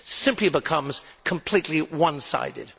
simply becomes completely one sided.